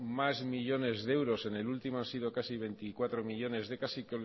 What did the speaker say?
más millónes de euros en el último han sido casi veinticuatro millónes casi